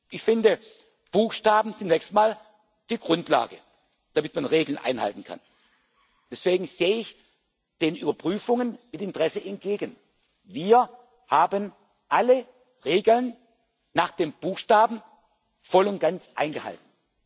Ich finde, Buchstaben sind zunächst mal die Grundlage, damit man Regeln einhalten kann. Deswegen sehe ich den Überprüfungen mit Interesse entgegen. Wir haben alle Regeln nach dem Buchstaben voll und ganz eingehalten.